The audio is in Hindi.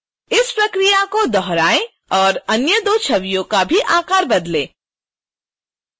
इसी प्रक्रिया को दोहराएं और अन्य दो छवियों का भी आकार बदलें